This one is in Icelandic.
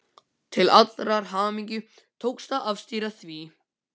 Til allrar hamingju tókst að afstýra því.